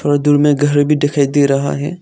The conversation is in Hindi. और दूर में घर भी दिखाई दे रहा है।